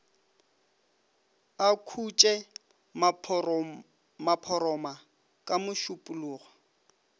a khoše maphoroma ka mešupologo